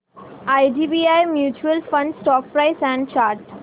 IDBI mutual fund stock price and chart